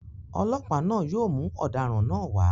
Ọlọ́pàá náà yóò mú ọ̀daràn náà wá.